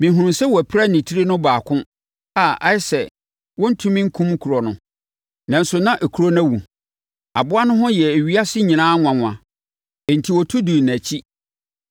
Mehunuu sɛ wɔapira ne tiri no baako a ayɛ sɛ wɔrentumi nkum kuro no, nanso na kuro no awu. Aboa no ho yɛɛ ewiasefoɔ nyinaa nwanwa, enti wɔtu dii nʼakyi.